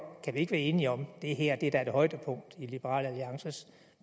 ikke være enige om at det her da er et højdepunkt i liberal alliances